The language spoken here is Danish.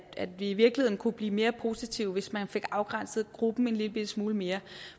at vi i virkeligheden kunne blive mere positive hvis man fik afgrænset gruppen en lillebitte smule mere